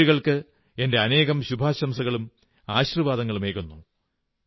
ഈ പെൺകുട്ടികൾക്ക് എന്റെ അനേകം ശുഭാശംസകളും ആശീർവ്വാദങ്ങളുമേകുന്നു